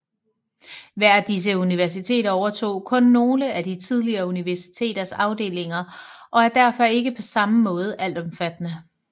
Hver af disse universiteter overtog kun nogle af det tidligere universitets afdelinger og er derfor ikke på samme måde altomfattende